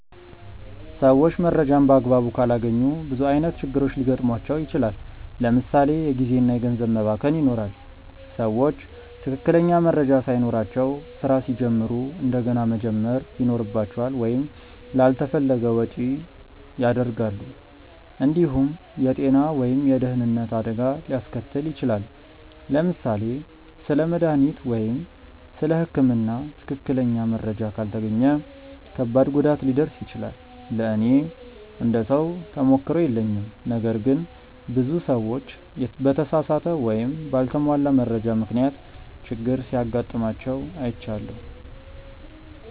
ሰዎች መረጃን በአግባቡ ካላገኙ ብዙ ዓይነት ችግሮች ሊገጥሟቸው ይችላል። ለምሳ ሌ የጊዜ እና ገንዘብ መባከን ይኖራል። ሰዎች ትክክለኛ መረጃ ሳይኖራቸው ስራ ሲጀምሩ እንደገና መጀመር ይኖርባቸዋል ወይም ላልተፈለገ ወጪ ያደርጋሉ። እንዲሁም የጤና ወይም የደህንነት አደጋ ሊያስከትል ይችላል። ለምሳሌ ስለ መድሃኒት ወይም ስለ ህክምና ትክክለኛ መረጃ ካልተገኘ ከባድ ጉዳት ሊደርስ ይችላል። ለእኔ እንደ ሰው ተሞክሮ የለኝም ነገር ግን ብዙ ሰዎች በተሳሳተ ወይም በአልተሟላ መረጃ ምክንያት ችግር ሲጋጥማቸው አይቻለሁ።